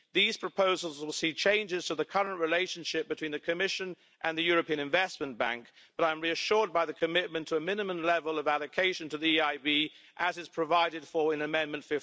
These proposals will see changes to the current relationship between the Commission and the European Investment Bank, but I am reassured by the commitment to a minimum level of allocation to the EIB, as is provided for in Amendment